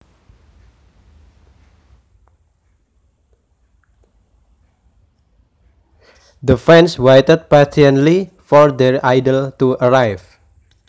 The fans waited patiently for their idol to arrive